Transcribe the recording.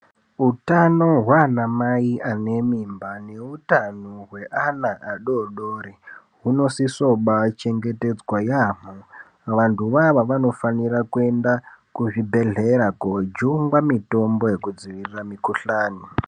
Utano hwana mai ane mimba neutano hweana adodori hunosisoba chengetedzwa yaambo. Vantu vava vanofanira kuenda kuzvibhedhlera kojungwa mitombo yekudzirira mikuhlani.